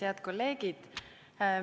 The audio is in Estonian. Head kolleegid!